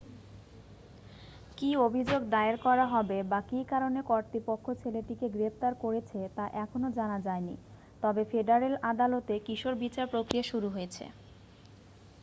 কী অভিযোগ দায়ের করা হবে বা কী কারণে কর্তৃপক্ষ ছেলেটিকে গ্রেফতার করেছে তা এখনও জানা যায়নি তবে ফেডারেল আদালতে কিশোর বিচার প্রক্রিয়া শুরু হয়েছে